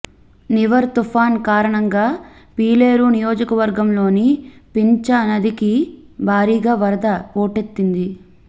నివర్ తుపాన్ కారణంగా పీలేరు నియోజకవర్గంలోని పింఛ నదికి భారీగా వరద పోటెత్తింది